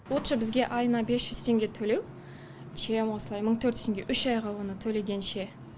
лучше бізге айына бес жүз теңге төлеу чем осылай мың төрт жүз теңге үш айға ғана төлегенше